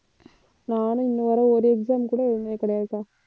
நானும் இன்ன வரை ஒரு exam கூட எழுதுனது கிடையாதுக்கா